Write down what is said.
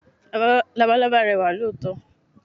Labalábá rẹwà lóòótọ́.